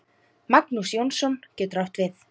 Magnús Jónsson getur átt við